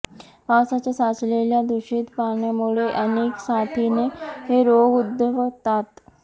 पावसाच्या साचलेल्या दूषित पाण्यामुळे अनेक साथीचे रोग उद्भवतात